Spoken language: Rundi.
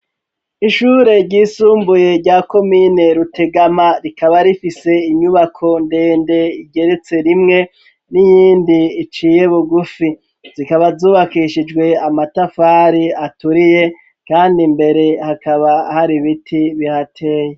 Ishure ryisumbuye rya komine rutegama, rikaba rifise inyubako ndende igeretse rimwe niyindi iciye bugufi, zikaba zubakishijwe amatafari aturiye kandi imbere hakaba har'ibiti bihateye.